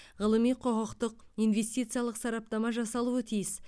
ғылыми құқықтық инвестициялық сараптама жасалуы тиіс